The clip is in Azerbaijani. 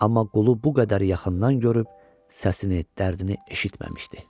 Amma qulu bu qədər yaxından görüb səsini, dərdini eşitməmişdi.